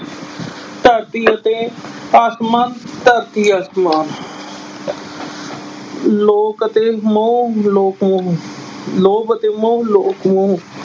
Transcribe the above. ਧਰਤੀ ਅਤੇ ਆਸਮਾਨ ਧਰਤੀ ਅਸਮਾਨ ਲੋਕ ਅਤੇ ਮੋਹ ਲੋਕ ਮੋਹ, ਲੋਭ ਅਤੇ ਮੋਹ ਲੋਭ ਮੋਹ